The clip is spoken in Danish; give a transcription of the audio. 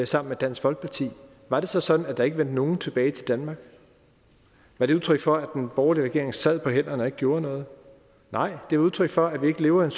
sammen med dansk folkeparti var det så sådan at der ikke vendte nogen tilbage til danmark var det udtryk for at den borgerlige regering sad på hænderne og ikke gjorde noget nej det var udtryk for at vi ikke lever i